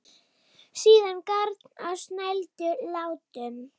Síðan garn á snældu látum.